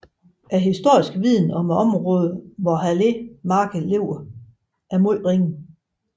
Den historisk viden om området hvor Halė marked ligger er meget ringe